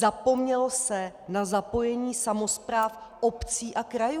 Zapomnělo se na zapojení samospráv obcí a krajů!